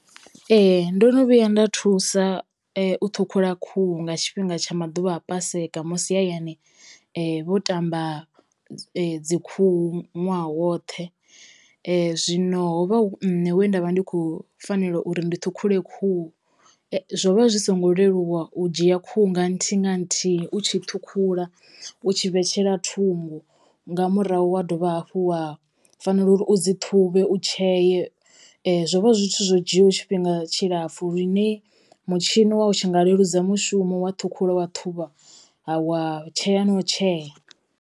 Ee ndo no vhuya nda thusa u ṱhukhula khuhu nga tshifhinga tsha maḓuvha a paseka musi hayani vho tamba dzi khuhu ṅwaha woṱhe, zwino ho vha hu nṋe we nda vha ndi khou fanela uri ndi ṱhukhula khuhu. Zwo vha zwi songo leluwa u dzhia khuhu nga nthihi nga nthihi u tshi ṱhukhula u tshi vhetshela thungo nga murahu wa dovha hafhu wa fanela uri u dzi ṱhuvhe, u tsheye. Zwo vha zwi zwithu zwo dzhiaho tshifhinga tshilapfu lune mutshini wa u tshi nga leludza mushumo wa ṱhukhula wa ṱhuvha wa tshea no u tshea.